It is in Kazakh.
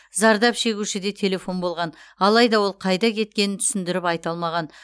зардап шегушіде телефон болған алайда ол қайда кеткенін түсіндіріп айта алмаған